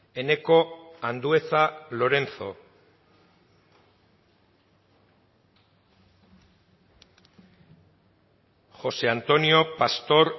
eneko andueza lorenzo josé antonio pastor